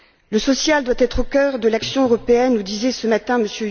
Le social doit être au cœur de l'action européenne, nous disait ce matin M.